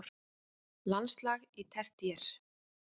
Landslag á tertíer